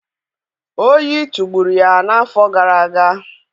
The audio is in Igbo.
Oyi tụgburu ya n'afọ gara aga.